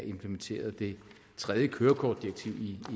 implementeret det tredje kørekortdirektiv